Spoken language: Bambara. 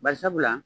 Barisabula